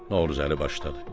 Novruzəli başladı: